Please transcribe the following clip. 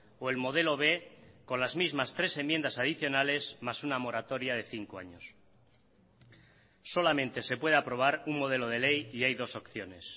o el modelo b con las mismas tres enmiendas adicionales más una moratoria de cinco años solamente se puede aprobar un modelo de ley y hay dos opciones